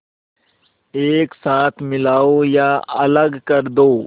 एक साथ मिलाओ या अलग कर दो